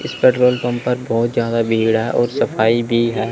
इस petrol pump पर बहोत ज्यादा भीड़ है और सफाई भी है।